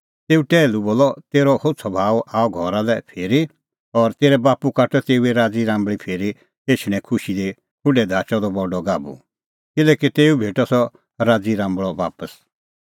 तेऊ टैहलू बोलअ तेरअ होछ़अ भाऊ आअ घरा लै फिरी और तेरै बाप्पू काटअ तेऊए राज़ी राम्बल़ै फिरी एछणें खुशी दी खुढै धाचअ द बडअ गाभू किल्हैकि तेऊ भेटअ सह राज़ी राम्बल़अ बापस